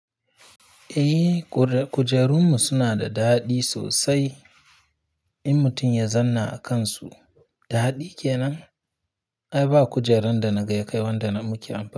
Eh, kure kujerun mu suna da daɗi sosai in mutun ya zanna a kansu. Daɗi kenan. Ai ba kujeran da na ga ya kai wanda na muke amfa.